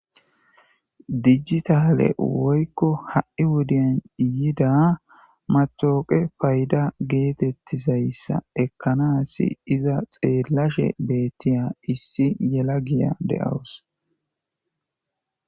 Dijitale woyko ha'i wode yida matawoqiya paydda gettetizayssa ekkana asi iza xellashe betiza issi yelagiya de'awus.